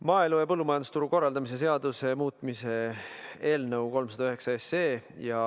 Maaelu ja põllumajandusturu korraldamise seaduse muutmise eelnõu 309.